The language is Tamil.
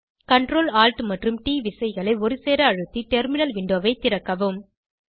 Ctrl Alt மற்றும் ட் விசைகளை ஒருசேர அழுத்தி டெர்மினல் விண்டோவை திறக்கவும்